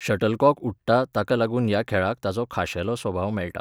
Shuttlecock उडटा ताका लागून ह्या खेळाक ताचो खाशेलो स्वभाव मेळटा.